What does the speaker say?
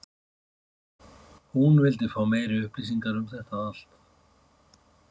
hún vildi fá meiri upplýsingar um þetta allt.